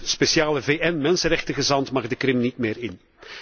De speciale VN mensenrechtengezant mag de Krim niet meer in.